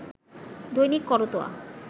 Dainik Karatoya